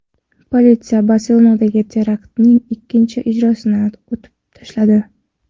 Politsiya Barselonadagi teraktning ikkinchi ijrochisini otib tashladi.